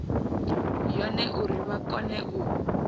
yone uri vha kone u